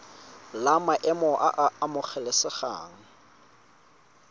la maemo a a amogelesegang